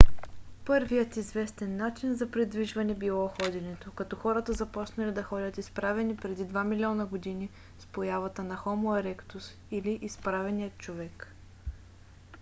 първият известен начин за придвижване било ходенето като хората започнали да ходят изправени преди два милиона години с появата на хомо еректус или изправения човек